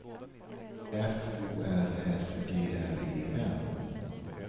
F O R S G R E N